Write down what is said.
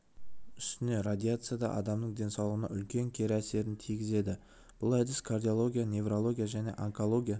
үстіне радиация да адамның денсаулығына үлкен кері әсерін тигізеді бұл әдіс кардиология неврология және онкология